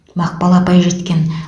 мақпал апай жеткен